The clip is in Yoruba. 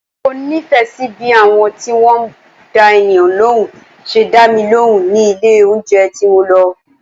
Mo nífẹ̀ẹ́ sí bí àwọn tí wọ́n dá ènìyàn lóhùn ṣe dá mi lóhùn ní ilé oúnjẹ tí mo lọ.